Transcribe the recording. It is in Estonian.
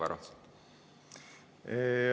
Aeg, Varro!